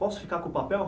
Posso ficar com o papel?